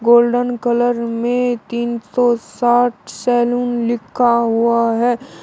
Golden colour में तीन सौ साठ सैलून लिखा हुआ हैं।